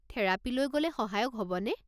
থেৰাপীলৈ গ'লে সহায়ক হ'বনে?